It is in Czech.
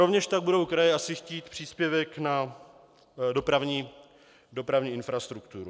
Rovněž tak budou kraje asi chtít příspěvek na dopravní infrastrukturu.